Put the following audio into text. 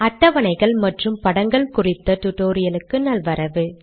அட்டவணைகள் மற்றும் படங்கள் குறித்த டுடோரியலுக்கு நல்வரவு